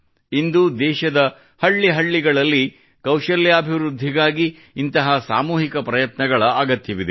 ಇಂದು ದೇಶದ ಹಳ್ಳಿ ಹಳ್ಳಿಗಳಲ್ಲಿ ಕೌಶಲ್ಯಾಭಿವೃದ್ಧಿಗಾಗಿ ಇಂತಹ ಸಾಮೂಹಿಕ ಪ್ರಯತ್ನಗಳ ಅಗತ್ಯವಿದೆ